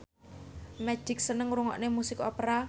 Magic seneng ngrungokne musik opera